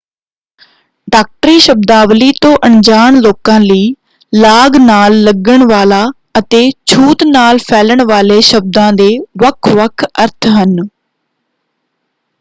ਡਾਕਟਰੀ ਸ਼ਬਦਾਵਲੀ ਤੋਂ ਅਣਜਾਣ ਲੋਕਾਂ ਲਈ ਲਾਗ ਨਾਲ ਲੱਗਣ ਵਾਲਾ ਅਤੇ ਛੂਤ ਨਾਲ ਫੈਲਣ ਵਾਲੇ ਸ਼ਬਦਾਂ ਦੇ ਵੱਖ-ਵੱਖ ਅਰਥ ਹਨ।